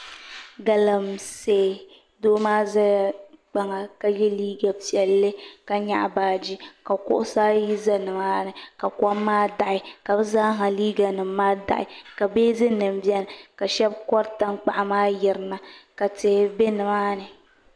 Galamsee doo maa ʒɛla kpaŋa ka yɛ liiga piɛlli ka nyaɣa baaji ka kuɣusi ayi ʒɛ nimaani ka kom maa daɣi ka bi zaaha liiga nim maa daɣi ka beezin nim biɛni ka shab kori tankpaɣu maa yirina ka tihi bɛ nimaani